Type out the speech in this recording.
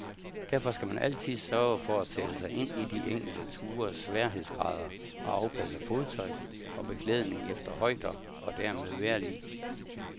Derfor skal man altid sørge for at sætte sig ind i de enkelte tures sværhedsgrader og afpasse fodtøj og beklædning efter højder og dermed vejrlig.